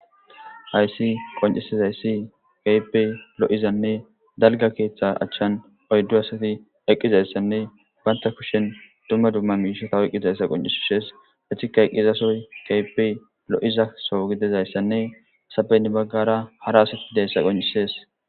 Hayssan qoncisidayis keehipe lo7iza dalgga keeththeza achani oydu asati eqqidayssane banita kusheni duma duma mishata oyikidayisa qoncisesi etika eqida sohoyi kehipe loyizaisane hasape heni baggara hara asati dizayisa qoncisesi